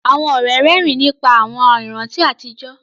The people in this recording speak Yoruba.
Àwọn ọ̀rẹ́ rẹ́rìn nípa àwọn ìrántí àtijọ́